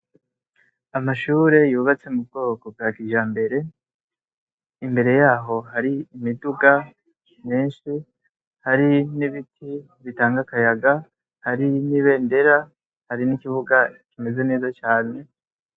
Amashure yubatse mu bwoko bwa kijambere, imbere yaho hari imiduga myinshi, hari n'ibiti bitanga akayaga, hari n'ibendera, hari n'ikibuga kimeze neza cane.